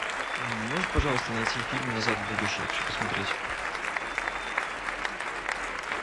можешь пожалуйста найти фильм назад в будущее я хочу посмотреть